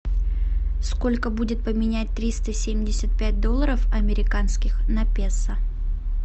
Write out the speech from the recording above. сколько будет поменять триста семьдесят пять долларов американских на песо